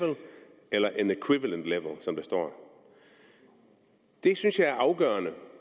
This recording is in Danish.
eller an equivalent level som der står det synes jeg er afgørende